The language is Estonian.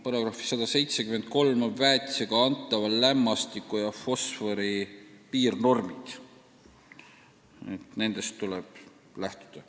Paragrahvis 173 on väetisega antava lämmastiku ja fosfori piirnormid, nendest tuleb lähtuda.